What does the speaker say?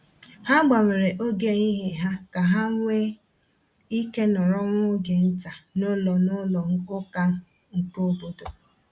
Ha gbanwere oge ehihie ha ka ha nwee ike nọrọ nwa oge nta n’ụlọ n’ụlọ ụka nke obodo.